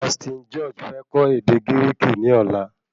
Austin George fẹ kọ́ ède Gíríkì ní ọ̀la